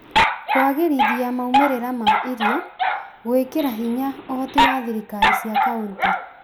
Kũagĩrithia maumĩrĩra ma iro, gwĩkĩra hinya ũhoti wa thirikari cia kauntĩ